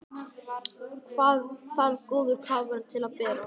Jóhannes: Hvað þarf góður kafari til að bera?